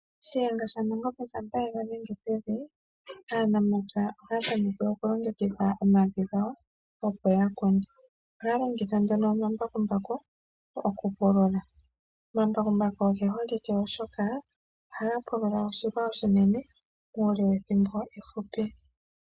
Shiyenga sha Nangombe shampa ye ga dhenge pevi aanamapya ohaya tameke oku longekidha omavi gawo opo yakune. Ohaya longitha nduno omambakumbu okupulula. Omambakumbu oge holike oshoka ohaga pulula oshilwa oshinene muule pethimbo ehupi.